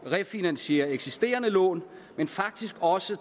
at refinansiere eksisterende lån men faktisk også